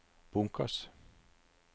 bunkers